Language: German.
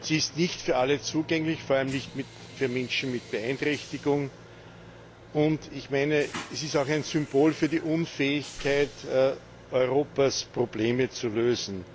Sie ist nicht für alle zugänglich, vor allem nicht für Menschen mit Beeinträchtigungen. Sie ist auch ein Symbol für die Unfähigkeit Europas, Probleme zu lösen.